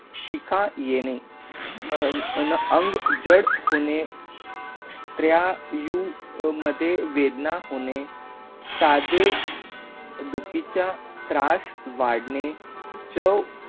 शिका येणे न अंग जर कोणे स्त्रया यु मध्ये वेदना होणे साधे दुखीचा क्राश वाढणे चव